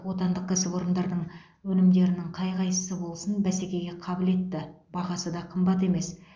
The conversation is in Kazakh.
отандық кәсіпорындардың өнімдерінің қай қайсысы болсын бәсекеге қабілетті бағасы да қымбат емес